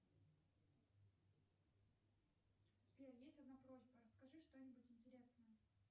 сбер есть одна просьба расскажи что нибудь интересное